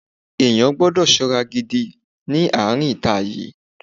Ènìyàn gbọ́dọ̀ ṣọ́ra gidi ní àárín ita yìí.